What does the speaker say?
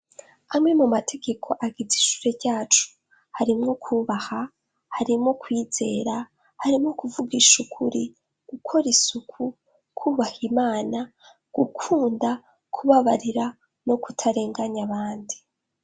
amwe mu mategeko agize ishure ryacu harimwo kubaha harimwo kwizera harimo kuvugasha ukuri gukora isuku kubaha imana gukunda kubabarira no kutarenganya abandi